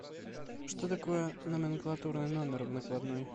что такое номенклатурный номер в накладной